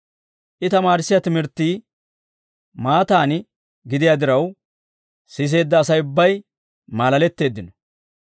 I tamaarissiyaa timirttii maataan gidiyaa diraw siseedda Asay ubbay maalaletteeddino.